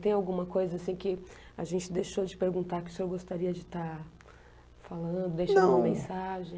Tem alguma coisa assim que a gente deixou de perguntar que o senhor gostaria de estar falando, não, deixando uma mensagem?